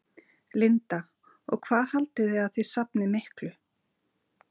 Linda: Og hvað haldið þið að þið safnið miklu?